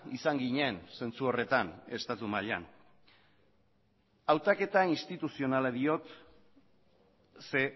izan ginen zentzu horretan estatu mailan hautaketa instituzionala diot ze